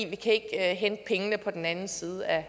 vi kan ikke hente pengene på den anden side af